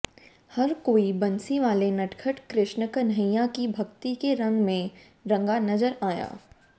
हर कोई बंसीवाले नटखट कृष्ण कन्हैया की भक्ति के रंग में रंगा नजर आया